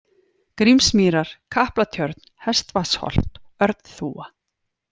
Grímsmýrar, Kaplatjörn, Hestvatnsholt, Örnþúfa